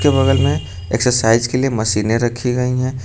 बगल में एक्सरसाइज के लिए मशीनें रखी गई है।